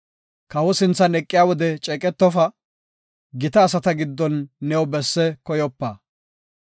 Kawo sinthan eqiya wode ceeqetofa; gita asata giddon new besse koyopa.